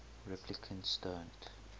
replicants don't